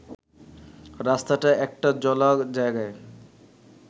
রাস্তাটা একটা জলা জায়গার